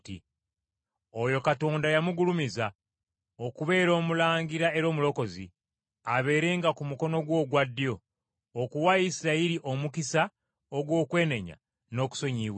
Oyo Katonda n’amugulumiza okubeera Omulangira era Omulokozi, abeerenga ku mukono gwe ogwa ddyo, okuwa Isirayiri omukisa ogw’okwenenya n’okusonyiyibwa ebibi.